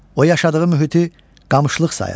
O yaşadığı mühiti qamışlıq sayır.